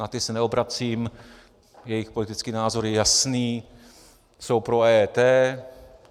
Na ty se neobracím, jejich politický názor je jasný, jsou pro EET.